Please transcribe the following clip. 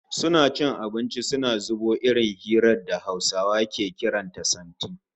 Suna cin abinci suna zubo irin hirar da a Hausa ake kiran ta "santi"